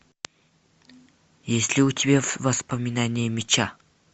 есть ли у тебя воспоминания меча